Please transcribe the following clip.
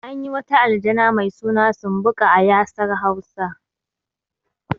Anyi wata aljana mai suna sumbuƙa a ƴasar hausa